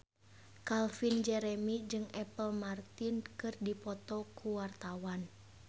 Calvin Jeremy jeung Apple Martin keur dipoto ku wartawan